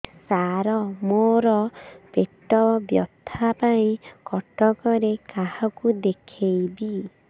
ସାର ମୋ ର ପେଟ ବ୍ୟଥା ପାଇଁ କଟକରେ କାହାକୁ ଦେଖେଇବି